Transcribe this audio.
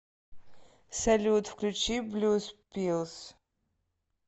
салют включи блюз пиллс